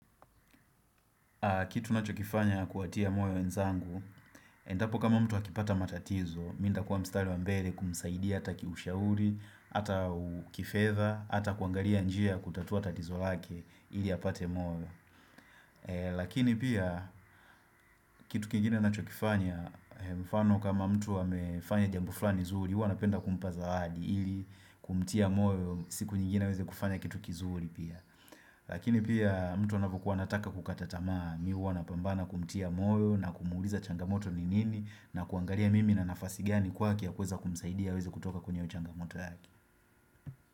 Kitu nacho kifanya kuwatia moyo wezangu, endapo kama mtu akipata matatizo, mintakuwa mstari wa mbele kumsaidia ataki ushauri, ata kifedha, ata kuangalia njia ya kutatua tatizo lake ili apate moyo. Lakini pia, kitu kingine nacho kifanya, mfano kama mtu amefanya jambu flani zuri, huwa napenda kumpa zawadi ili kumtia moyo, siku nyingine aweze kufanya kitu kizuri pia. Lakini pia mtu anavyokuwa anataka kukatatamaa mihuwa na pambana kumtia moyo na kumuuliza changamoto ni nini na kuangaria mimi na nafasi gani kwake ya kweza kumsaidia weze kutoka kwenye changamoto yake.